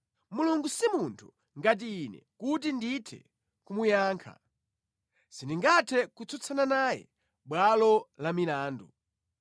“Mulungu si munthu ngati ine kuti ndithe kumuyankha, sindingathe kutsutsana naye mʼbwalo la milandu.